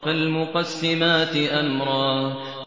فَالْمُقَسِّمَاتِ أَمْرًا